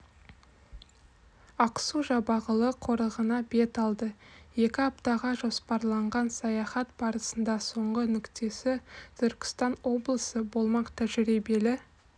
ақсу-жабағылы қорығына бет алды екі аптаға жоспарланған саяхат барысының соңғы нүктесі түркістан облысы болмақ тәжірибелі